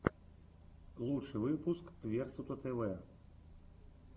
лучший выпуск версутатэвэ